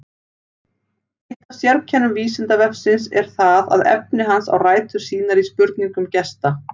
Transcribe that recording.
Eitt af sérkennum Vísindavefsins er það að efni hans á rætur sínar í spurningum gesta.